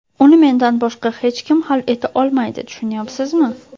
Uni mendan boshqa hech kim hal eta olmaydi, tushunyapsizmi?